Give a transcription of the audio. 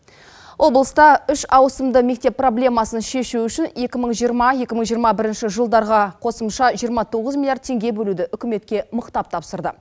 облыста үш ауысымды мектеп проблемасын шешу үшін екі мың жиырма екі мың жиырма бірінші жылдарға қосымша жиырма тоғыз миллиард теңге бөлуді үкіметке мықтап тапсырды